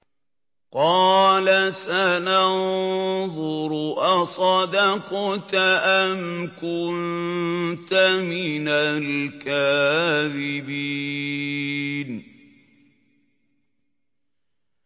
۞ قَالَ سَنَنظُرُ أَصَدَقْتَ أَمْ كُنتَ مِنَ الْكَاذِبِينَ